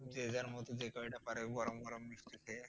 যে যার মত যে কয়টা পারে গরম গরম মিষ্টি খেয়ে।